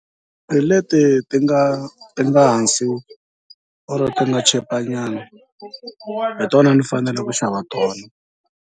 Hi leti ti nga ti nga hansi or ti nga chipa nyana hi tona ndzi fanele ku xava tona.